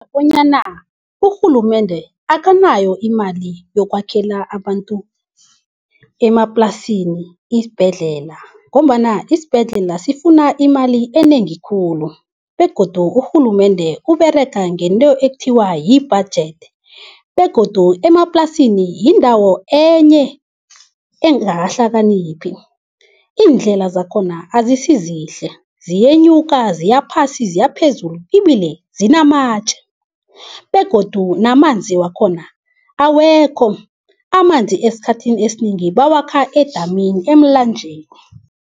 Bonyana urhulumende akanayo imali yokwakhela abantu emaplasini isibhedlela ngombana isibhedlela sifuna imali enengi khulu, begodu urhulumende uberega ngento ekuthiwa yi-budget. Begodu emaplasini yindawo enye engakahlakaniphi, iindlela zakhona azisizihle ziyenyuka ziyaphasi ziyaphezulu, ibile zinamatje begodu namanzi wakhona awekho. Amanzi esikhathini esinengi bawakha edamini, emlanjeni.